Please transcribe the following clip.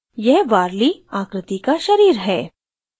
यह warli आकृति का शरीर है